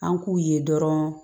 An k'u ye dɔrɔn